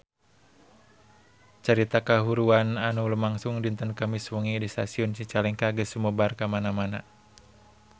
Carita kahuruan anu lumangsung dinten Kemis wengi di Stasiun Cicalengka geus sumebar kamana-mana